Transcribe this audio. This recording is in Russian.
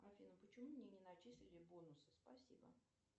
афина почему мне не начислили бонусы спасибо